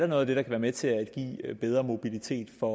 noget der kan være med til at give bedre mobilitet for